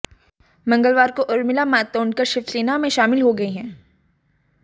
मंगलवार को उर्मिला मातोंडकर शिवसेना में शामिल हो गई हैं